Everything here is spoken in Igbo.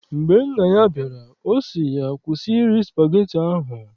Mgbe nna ya bịara, ọ sị ya, kwụsị iri spageti ahụ!